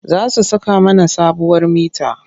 Za su saka mana sabuwar mita.